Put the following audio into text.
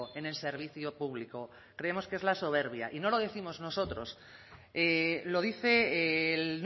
en el servicio público creemos que es la soberbia y no lo décimos nosotros lo dice el